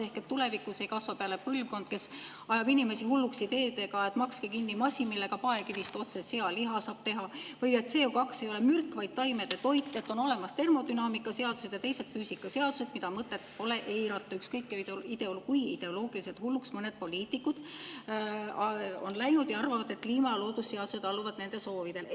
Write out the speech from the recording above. Ehk siis tulevikus ei kasva peale põlvkond, kes ajab inimesi hulluks ideedega, et makske kinni masin, millega paekivist otse sealiha saab teha, või et CO2 ei ole mürk, vaid taimede toit, et on olemas termodünaamika seadused ja teised füüsikaseadused, mida pole mõtet eirata, ükskõik kui ideoloogiliselt hulluks mõned poliitikud on läinud ja arvavad, et kliima ja loodusseadused alluvad nende soovidele.